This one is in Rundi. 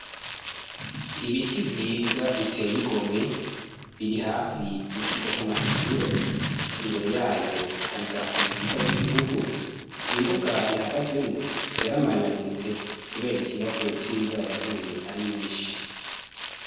Ibiti vyiza biteye igomwe biri hafi ikigo c'amashure imbere yayo hari idarapo ryiza ry'igihugu imbuga rihagazemwo yaramanyaguritse, kubera ikibazo c'imvura yaguye ari nyinshi.